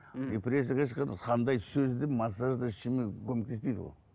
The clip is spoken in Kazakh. депрессия қандай сөздің массаж да ештеңе көмектеспейді ол